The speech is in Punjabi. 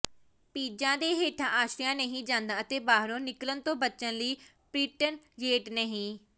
ਪੀਜ਼ਾ ਦੇ ਹੇਠਾਂ ਆਸ਼ਰਿਆ ਨਹੀਂ ਜਾਂਦਾ ਅਤੇ ਬਾਹਰੋਂ ਨਿਕਲਣ ਤੋਂ ਬਚਣ ਲਈ ਪ੍ਰਿਟਨਯੇਟ ਨਹੀਂ